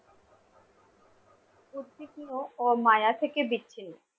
ও মায়া থেকে বিচ্ছিন্ন